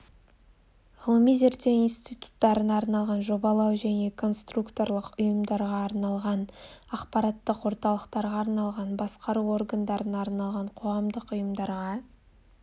ғылыми-зерттеу институттарына арналған жобалау және конструкторлық ұйымдарға арналған ақпараттық орталықтарға арналған басқару органдарына арналған қоғамдық ұйымдарға